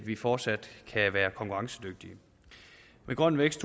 vi fortsat kan være konkurrencedygtige med grøn vækst